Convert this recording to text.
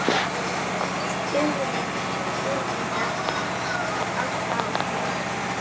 stöðinni, úrvinda á sál og líkama.